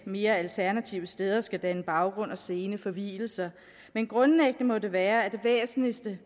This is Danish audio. mere alternative steder skal danne baggrund og scene for vielser men grundlæggende må det være at det væsentligste